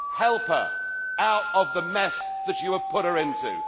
Help it out of the mess that you have put it into.